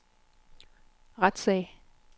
retssag